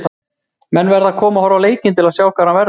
Menn verða að koma og horfa á leikina til að sjá hvar hann verður.